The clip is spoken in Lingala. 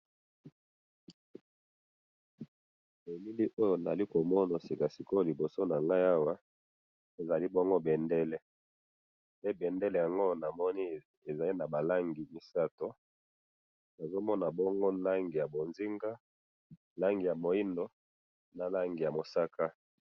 Nazomona bendele eza nabalangi misato, bonzinga, mwindu, nalangi yamosaka